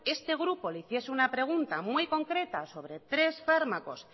este grupo le hiciese una pregunta muy concreta sobre tres fármacos